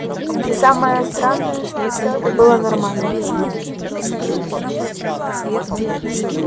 и самое странное что все это было нормально